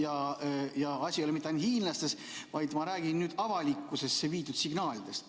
Aga asi ei ole mitte hiinlastes, vaid ma räägin nüüd avalikkusele antud signaalidest.